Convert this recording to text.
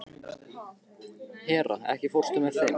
Hera, ekki fórstu með þeim?